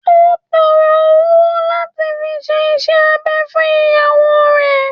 Ó n tọrọ owo lati fi se isẹ abẹ fun iyawo rẹ